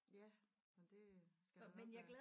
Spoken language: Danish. Ja men det skal der nok være